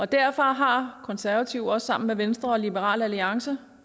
derfor har konservative også sammen med venstre og liberal alliance